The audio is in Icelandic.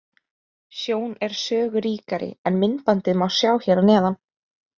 Sjón er sögu ríkari, en myndbandið má sjá að neðan.